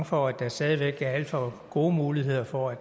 for at der stadig væk er alt for gode muligheder for at